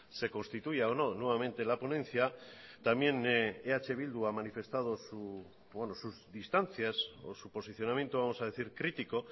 se constituya o no nuevamente la ponencia también eh bildu ha manifestado sus distancias o su posicionamiento vamos a decir crítico